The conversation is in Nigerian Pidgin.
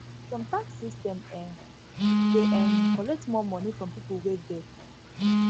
some tax system um dey um collect more money from pipo wey get